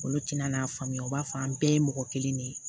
Olu tina n'a faamuya u b'a fɔ an bɛɛ ye mɔgɔ kelen de ye